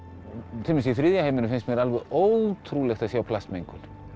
til dæmis í þriðja heiminum finnst mér það alveg ótrúlegt að sjá plastmengun